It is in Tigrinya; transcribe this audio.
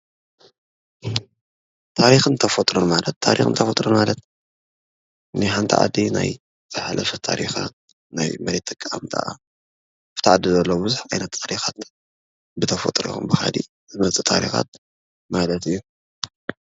ታሪክን ተፈጥሮን ማለት ታሪክን ተፈጥሮን ማለት ናይ ሓንቲ ዓዲ ናይ ዝሓለፈ ታሪካት ኣብቲ ዓዲ ዘሎ ብዙሕ ዓይነት ታሪካት ብተፈጥሮ ይኹን ብኻሊእ ዝመፅእ ታሪካት ማለት እዩ ።